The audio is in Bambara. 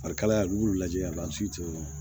Farikalaya n'i b'u lajɛ a si tɛ